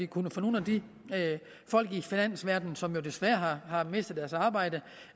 kunne få nogle af de folk i finansverdenen som jo desværre har mistet deres arbejde